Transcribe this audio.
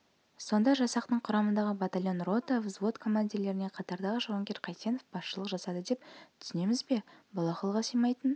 сонда жасақтың құрамындағы батальон рота взвод командирлеріне қатардағы жауынгер қайсенов басшылық жасады деп түсінеміз бе бұл ақылға симайтын